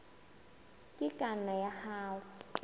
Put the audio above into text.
e ka nna ya hana